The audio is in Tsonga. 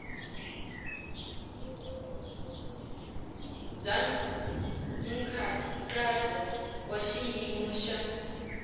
bya nkhaqato wa xiyimo xa